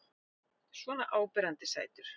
Svona áberandi sætur.